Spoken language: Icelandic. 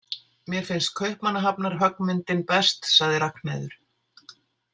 Mér finnst Kaupmannahafnarhöggmyndin best, sagði Ragnheiður.